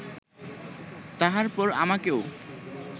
তাহার পর আমাকেও